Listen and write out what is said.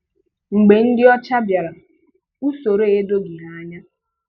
Mgbe ndị ọcha bịara, usoro a edoghị há anya.